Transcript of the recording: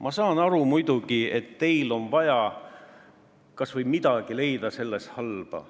Ma saan aru, muidugi, et teil on vaja leida selles kas või midagi halba.